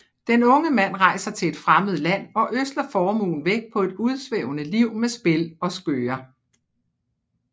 Den unge mand rejser til et fremmed land og ødsler formuen væk på et udsvævende liv med spil og skøger